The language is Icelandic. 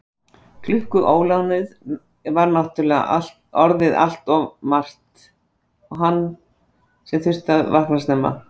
Klukkuólánið var náttúrlega orðin allt of margt og hann sem þurfti að vakna snemma.